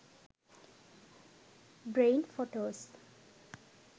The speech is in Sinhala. brain photos